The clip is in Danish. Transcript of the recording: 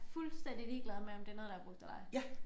Fuldstændig ligeglad med om det noget der er brugt eller ej